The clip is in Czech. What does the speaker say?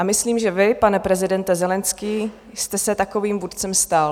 A myslím, že vy, pane prezidente Zelenskyj, jste se takovým vůdcem stal.